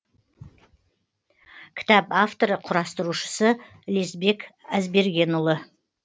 кітап авторы құрастырушысы лесбек әзбергенұлы